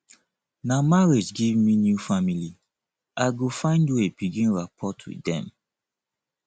na marriage give me new family i go find way begin rapport wit dem